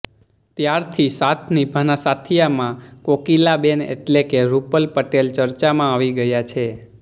ત્યારથી સાથ નિભાના સાથિયામાં કોકિલાબેન એટલે કે રૂપલ પટેલ ચર્ચામાં આવી ગયા છે